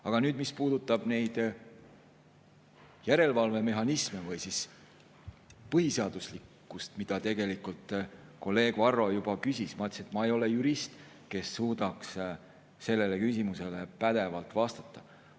Aga mis puudutab järelevalvemehhanisme või põhiseaduslikkust, mille kohta kolleeg Varro juba küsis, siis ma ka ütlesin, et ma ei ole jurist, kes suudaks sellele küsimusele pädevalt vastata.